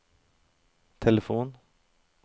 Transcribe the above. telefon